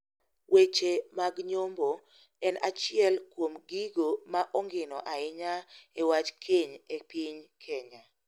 Weche mag nyombo en achiel kuom gigo ma ongino ahinya e wach keny e piny kenya.